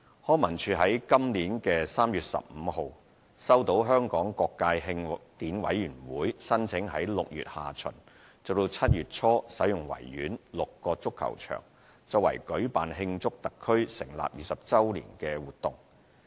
康文署於本年3月15日收到香港各界慶典委員會申請於6月下旬至7月初使用維園6個足球場作為舉辦慶祝特區成立20周年活動。